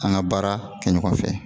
An ka baara kɛ ɲɔgɔn fɛ